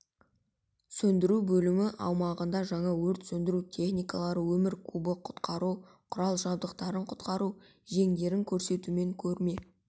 сөндіру бөлімі аумағында жаңа өрт сөндіру техникалары өмір кубы құтқару құрал-жабдықтарын құтқару жеңдерін көрсетумен көрме